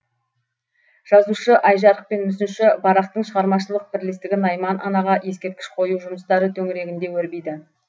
жазушы айжарық пен мүсінші барақтың шығармашылық бірлестігі найман анаға ескерткіш қою жұмыстары төңірегінде өрбиді